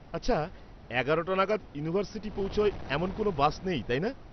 আচ্ছা, এগারোটা নাগাদ ইউনিভার্সিটি পৌঁছায় এমন কোনও বাস নেই, তাই না?